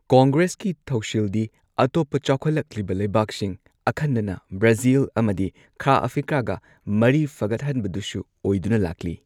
ꯀꯪꯒ꯭ꯔꯦꯁꯀꯤ ꯊꯧꯁꯤꯜꯗꯤꯑꯇꯣꯞꯄ ꯆꯥꯎꯈꯠꯂꯛꯂꯤꯕ ꯂꯩꯕꯥꯛꯁꯤꯡ, ꯑꯈꯟꯅꯅ ꯕ꯭ꯔꯥꯖꯤꯜ ꯑꯃꯗꯤ ꯈꯥ ꯑꯐ꯭ꯔꯤꯀꯥꯒꯥ ꯃꯔꯤ ꯐꯒꯠꯍꯟꯕꯗꯨꯁꯨ ꯑꯣꯏꯗꯨꯅ ꯂꯥꯛꯂꯤ꯫